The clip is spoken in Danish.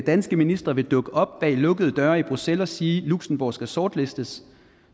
danske ministre vil dukke op bag lukkede døre i bruxelles og sige at luxembourg skal sortlistes